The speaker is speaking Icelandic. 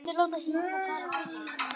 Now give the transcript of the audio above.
Á minn sann!